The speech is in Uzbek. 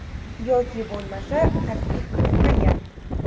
Yoki bo‘lmasa taklif kiritmagan?